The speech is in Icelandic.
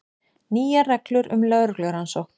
Nýjar reglur um lögreglurannsókn